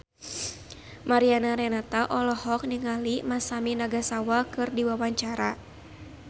Mariana Renata olohok ningali Masami Nagasawa keur diwawancara